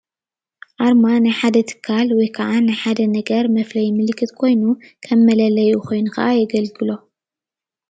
ኣርማ ናይ ሓደ ትካል ወይካዓ ናይ ሓደ ነገር መፍለይ ምልክት ኮይኑ ከም መለለዪ ኮይኑ ካዓ የገልግሎ::